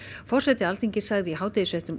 forseti Alþingis sagði í hádegisfréttum